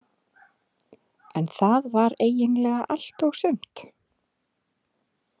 En það var eiginlega allt og sumt.